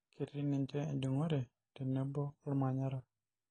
Ketii sii ninche ejungore tenebo olmanyara.